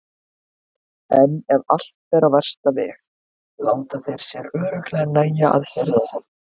En ef allt fer á versta veg láta þeir sér örugglega nægja að hirða hann.